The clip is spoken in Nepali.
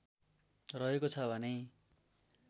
रहेको छ भने